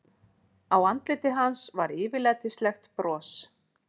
Á andliti hans var yfirlætislegt bros.